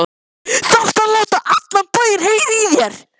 ÞARFTU AÐ LÁTA ALLAN BÆINN HEYRA Í ÞÉR!